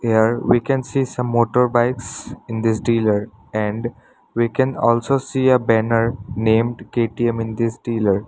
Here we can see some motor bikes in this dealer and we can also see a banner named K_T_M in this dealer.